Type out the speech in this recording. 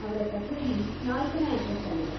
ಅವ್ರ ಕಛೇರಿ ನಾಲ್ಕನೇ ಅಂತಸ್ತಲ್ಲಿದೆ.